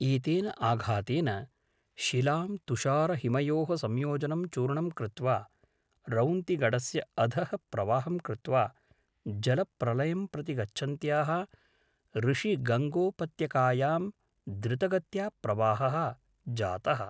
एतेन आघातेन शिलां तुषारहिमयोः संयोजनं चूर्णं कृत्वा रौन्तिगढस्य अधः प्रवाहं कृत्वा जलप्रलयं प्रति गच्छन्त्याः ऋषिगङ्गोपत्यकायां द्रुतगत्या प्रवाहः जातः।